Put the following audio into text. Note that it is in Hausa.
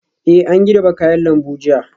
Eh an girbe kayan lambu jiya